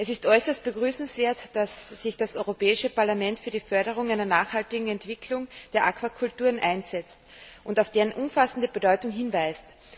Es ist äußerst begrüßenswert, dass sich das Europäische Parlament für die Förderung einer nachhaltigen Entwicklung der Aquakulturen einsetzt und auf deren umfassende Bedeutung hinweist.